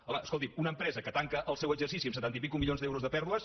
home escolti’m una empresa que tanca el seu exercici amb setanta i escaig milions de pèrdues